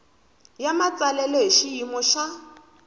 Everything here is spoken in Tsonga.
ya matsalelo hi xiyimo xa